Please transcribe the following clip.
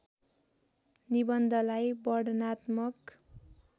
निबन्धलाई वर्णनात्मक